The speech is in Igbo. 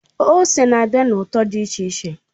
Ose na-abịa na ụtọ dị iche iche.